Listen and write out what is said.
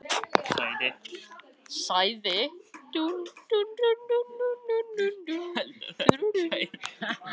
Hið besta var kvæðið flutt, sagði hann loks.